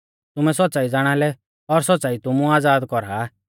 तुमै सौच़्च़ाई ज़ाणालै और सौच़्च़ाई तुमु आज़ाद कौरा आ